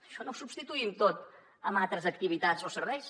això no ho substituïm tot amb altres activitats o serveis